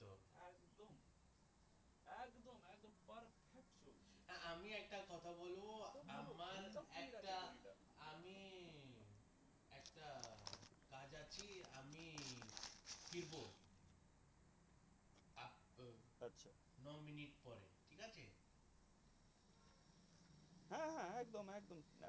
হ্যাঁ হ্যাঁ একদম একদম